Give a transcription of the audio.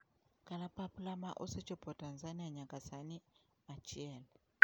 Kalapapla ma osechopo Tanzania nyaka sani: 1.